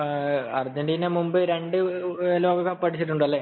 Argentina മുൻപ് രണ്ടു ലോക കപ്പു അടിച്ചിട്ടുണ്ട് അല്ലെ